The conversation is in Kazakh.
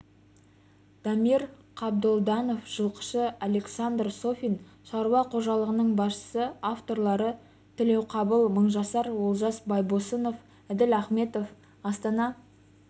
дамир қабдолданов жылқышы александр софин шаруа қожалығының басшысы авторлары тілеуқабыл мыңжасар олжас байбосынов әділ ахметов астана